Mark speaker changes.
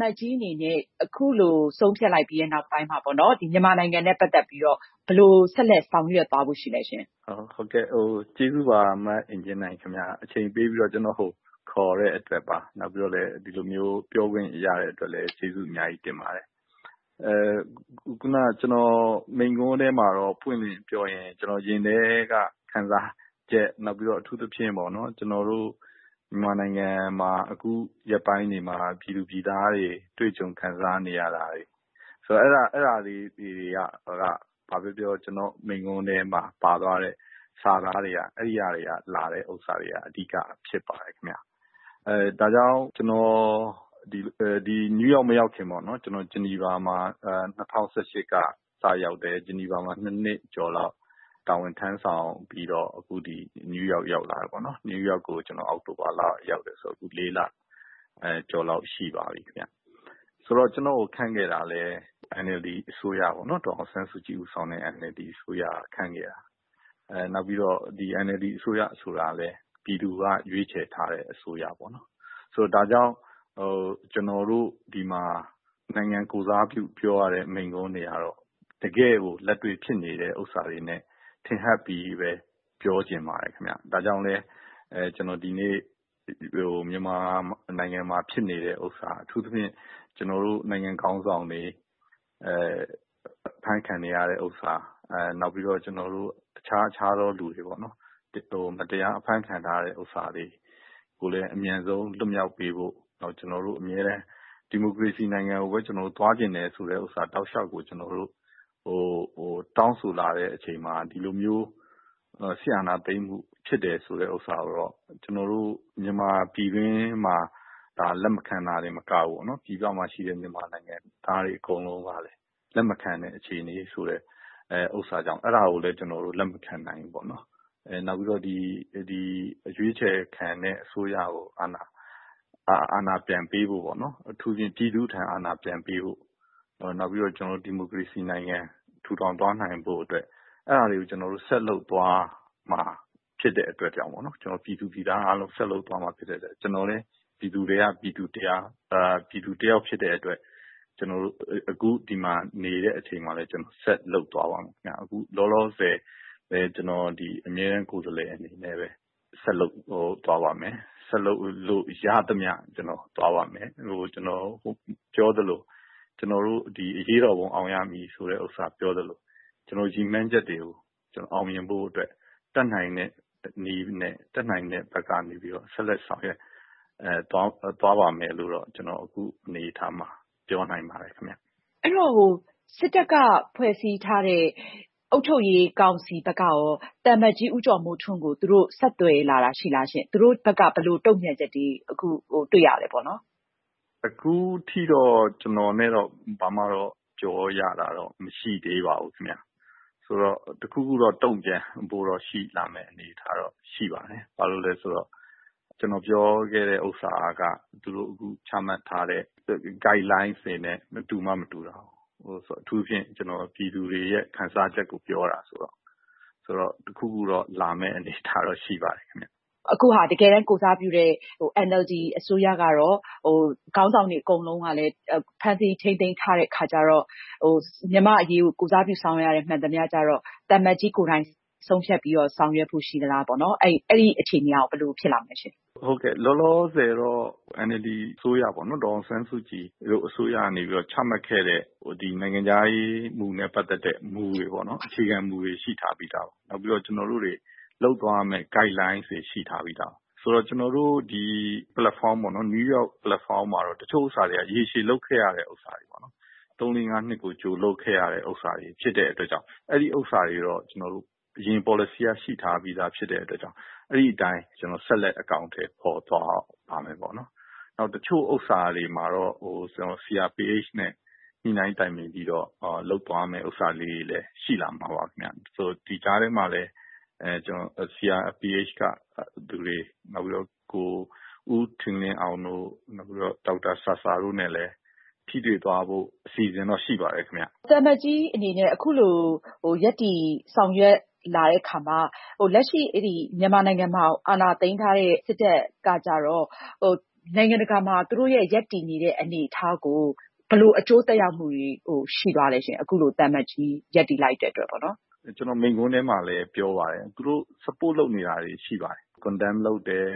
Speaker 1: မတ်ကြီးအနေနဲ့အခုလိုဆုံးဖြတ်လိုက်ပြီးတဲ့နောက် မြန်မာနိုင်ငံနဲ့ပတ်သက်လို့ ဘယ်လို ဆက်လက်ဆောင်ရွက်သွားဖို့ရှိလဲရှင့်။
Speaker 2: ဟုတ်ကဲ့။ မအင်ကြင်းနိုင်၊ ကျနော့်ကိုအချိန်ပေးပြီးခေါ်တဲ့အတွက် ကျေးဇူးပါ။ ဒီလိုပြောခွင့်ရတဲ့အတွက်လည်း ကျေးဇူးအများကြီးတင်ပါတယ်။ မိန့်ခွန်းထဲမှာတော့ ပွင့်ပွင့်လင်းလင်းပြောရရင် ကျနော့်ရင်ထဲက ခံစားချက်၊ အထူးသဖြင့်ပေါ့နော်- မြန်မာနိုင်ငံမှာ အခုရက်ပိုင်းတွေမှာ ပြည်သူပြည်သားတွေ တွေ့ကြုံခံစားနေရတာတွေ၊ အဲဒါလေးတွေက ဘာပဲပြောပြော ကျနော့်မိန့်ခွန်းထဲမှာပါသွားတဲ့ စာသားတွေက အဲဒါတွေက အဓိကဖြစ်ပါတယ်ခင်ဗျ။ ဒါကြောင့် ကျနော် နယူးယောက်ကို မရောက်ခင်ပေါ့နော်-ဂျနီဗာမှာ ၂၀၁၈ က စရောက်တယ်။ ဂျနီဗာမှာ ၂ နှစ်ကျော်လောက် တာဝန်ထမ်းဆောင်ပြီးတော့ အခု ဒီ နယူးယောက်ကို အောက်တိုဘာကရောက်တယ်ဆို အခု လေးလကျော်လောက်ရှိပါပြီခင်ဗျ။…ဆိုတော့ ကျနော့်ကို ခန့်ခဲ့တာလည်း ဒေါ်အောင်ဆန်းစုကြည်ဦးဆောင်တဲ့ NLD အစိုးရက ခန့်ခဲ့တာ။ NLD အစိုးရဆိုတာကလည်း ပြည်သူရွေးချယ်ထားတဲ့အစိုးရ။ ဒါကြောင့် ဒီမှာ နိုင်ငံကိုယ်စားပြု ပြောရတဲ့မိန့်ခွန်းတွေကတော့ တကယ့်ကို လက်တွေ့ ဖြစ်နေတဲ့ဥစ္စာတွေနဲ့ ထင်ဟပ်ပြီးတော့ပဲ ပြောချင်ပါတယ်ခင်ဗျ။ ဒါကြောင့်လည်း ဒီနေ့ ကျနော် မြန်မာနိုင်ငံမှာဖြစ်နေတဲ့ဥစ္စာ-အထူးသဖြင့် ကျနော်တို့နိုင်ငံ့ခေါင်းဆောင်တွေ အဖမ်းခံနေရတာ၊ နောက် အခြားအခြားသောသူတွေ မတရားအဖမ်းခံထားရတာတွေကိုလည်း အမြန်ဆုံးလွှတ်ပေးဖို့ ကျနော်တို့အမြဲတမ်း ဒီမိုကရေစီနိုင်ငံကိုသွားချင်တယ်ဆိုတာကို တောက်လျှောက်ပဲကျနော်တို့ တောင်းဆိုလာတဲ့အချိန်မှာ ဒီလိုမျိုး စစ်အာဏာသိမ်းမှုဖြစ်တယ်ဆိုတာကတော့ မြန်မာပြည်တွင်းမှာသာ လက်မခံတာမဟုတ်ဘူးပေါ့နော်။ ပြည်ပမှာရှိတဲ့မြန်မာနိုင်ငံသားတွေ အကုန်လုံးကလည်း လက်မခံဘူးပေါ့နော်။ နောက်ပြီးတော့ အရွေးချယ်ခံအစိုးရကို အာဏာပြန်ပေးဖို့၊ အထူးသဖြင့် ပြည်သူ့ထံအာဏာပြန်ပေးဖို့။ နောက်ပြီးတော့ ကျနော်တို့ ဒီမိုကရေစီနိုင်ငံ ထူထောင်သွားနိုင်ဖို့ အဲဒါတွေကို ပြည်သူပြည်သားအားလုံး ဆက်လုပ်သွားရမှာဖြစ်တဲ့အတွက်ကြောင့် ကျနော်လည်း ပြည်သူထဲကပြည်သူတယောက်ဖြစ်တဲ့အတွက် အခု ဒီမှာနေတဲ့အချိန်မှာလည်း ကျနော်ဆက်လုပ်သွားပါမယ်ခင်ဗျ။ အခုလောလောဆယ် အမြဲတမ်းကိုယ်စားလှယ်အနေနဲ့ပဲ ဆက်လုပ်သွားပါမယ်။ ဆက်လုပ်လို့ရသမျှ ကျနော်ဆက်လုပ်သွားပါမယ်။ ကျနော်ပြောသလို “အရေးတော်ပုံအောင်ရမည်”လို့ပြောကြသလို ရည်မှန်းချက်တွေကို အောင်မြင်ဖို့အတွက် တတ်နိုင်တဲ့နည်းနဲ့ တတ်နိုင်တဲ့ဘက်ကနေ ဆက်လက်ဆောင်ရွက်သွားပါ့မယ်လို့တော့ ကျနော် အခုအနေအထားမှာ ပြောနိုင်ပါတယ်ခင်ဗျ။
Speaker 1: အဲဒီတော့ စစ်တပ်ကဖွဲ့စည်းထားတဲ့ အုပ်ချုပ်ရေးကောင်စီဘက်ကရော သံအမတ်ကြီး ဦးကျော်မိုးထွန်းကို သူတို့ ဆက်သွယ်လာတာရှိလားရှင့်။ သူတို့ဘက်က ဘယ်လိုတုံ့ပြန်ချက်တွေ တွေ့ရပါသလဲ။
Speaker 2: အခုထိတော့ ကျနော်နဲ့တော့ ဘာမှတော့ ပြောရတာမရှိသေးပါဘူးခင်ဗျ။ တခုခုတုံ့ပြန်လာမယ့်အနေအထားတော့ ရှိပါတယ်။ ဘာလို့လဲဆိုတော့ ကျနော်ပြောခဲ့တဲ့ဥစ္စာက သူတို့ချထားတဲ့ Guide Lines တွေနဲ့တူမှမတူတာကို။ အထူးသဖြင့် ကျနော် ပြည်သူတွေရဲ့ခံစားချက်ကို ပြောတာဆိုတော့ တခုခုတော့ လာမယ့်အနေအထားတော့ ရှိပါတယ်ခင်ဗျ။
Speaker 1: NLD အစိုးရကကိုယ်စားပြုတဲ့ ခေါင်းဆောင်တွေအကုန်လုံးကလည်း ဖမ်းဆီးထိန်းသိမ်းထားခံရတဲ့အခါကျတော့ မြန်မာ့အရေးကို ကိုယ်စားပြုဆောင်ရွက်ရတဲ့ဟာမှန်သမျှကျတော့ သံအမတ်ကြီးကိုယ်တိုင်ပဲ ဆုံးဖြတ်ပြီးတော့ ဆောင်ရွက်ဖို့ရှိသလားပေါ့နော်-အဲဒီအခြေအနေကရော ဘယ်လိုဖြစ်လာမလဲရှင့်။
Speaker 2: ဟုတ်ကဲ့။ လောလောဆယ်တော့ ဒေါ်အောင်ဆန်းစုကြည်တို့ NLD အစိုးရကနေ ချမှတ်ခဲ့တဲ့ နိုင်ငံခြားရေးနဲ့ပတ်သက်တဲ့ အခြေခံမူတွေ ရှိထားပြီးသားပါ။ နောက်ပြီးတော့ လုပ်သွားရမယ့် Guide lines တွေ ရှိထားပြီးသားပါ။ ဆိုတော့ ကျနော်တို့ ဒီ နယူးယောက်ပလက်ဖောင်းမှာတော့ တချို့ဟာတွေက ရေရှည်လုပ်ခဲ့ရတဲ့ဟာတွေ- သုံး-လေး-ငါးနှစ်ကို ကြိုလုပ်ခဲ့ရတဲ့အရာတွေ ဖြစ်တဲ့အတွက်ကြောင့် အဲဒီဥစ္စာတွေကိုတော့…အရင်ပေါ်လစီက ရှိထားပြီးဖြစ်တဲ့အတွက် အဲဒီအတိုင်း ဆက်လက် အကောင်အထည်ဖော်သွားပါမယ်ပေါ့နော်။ တချို့ဥစ္စာတွေမှာတော့ CRPH နဲ့ ညှိနှိုင်းတိုင်ပင်ပြီးတော့ လုပ်သွားမယ့်ဟာလေးတွေလည်း ရှိလာမှာပါခင်ဗျ။ ဒီကြားထဲမှာလည်း CRPH က လူတွေ၊ နောက်ပြီးတော့ ဦးထင်လင်းအောင်တို့၊ ဒေါက်တာဆာဆာတို့နဲ့လည်း ထိတွေ့သွားဖို့ အစီအစဉ်တော့ ရှိပါတယ်ခင်ဗျ။
Speaker 1: သံအမတ်ကြီးအနေနဲ့အခုလို ရပ်တည်ဆောင်ရွက်လာတဲ့အခါမှာ လက်ရှိ မြန်မာနိုင်ငံမှာအာဏာသိမ်းထားတဲ့စစ်တပ်ကကျတော့ နိုင်ငံတကာမှာ သူတို့ရဲ့ရပ်တည်နေတဲ့အနေအထားကို ဘယ်လိုအကျိုးသက်ရောက်မှုတွေရှိသွားလဲရှင့်။
Speaker 2: ကျနော် မိန့်ခွန်းထဲမှာလည်းပြောပါတယ်။ သူတို့ support လုပ်နေတာတွေရှိပါတယ်။ Condemn လုပ်တယ်